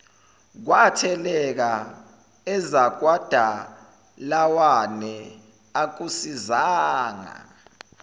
kwatheleka ezakwadalawane akusisizanga